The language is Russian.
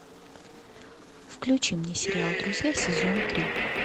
включи мне сериал друзья сезон три